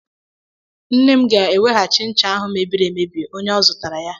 Nne m ga-eweghachi ncha ahụ mebiri emebi onye ọ zụtara ya.